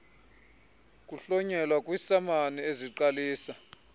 kuhlonyelwa kwiisamani eziqalisa